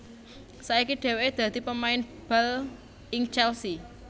Saiki dhèwèké dadi pemain bal ing Chelsea